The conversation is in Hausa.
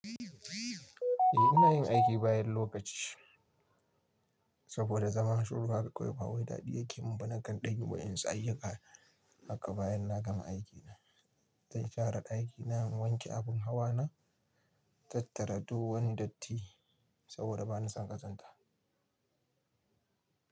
Eh ina yin aiki bayan lokaci saboda zama shiru haka kawai ba wai daɗi yake mun ba nakan ɗanyi wasu ayyuka. Haka bayan na gama aiki na, zan share ɗakina, in wanke abun hawa na, tattara duk wani datti saboda ba na son ƙazanta.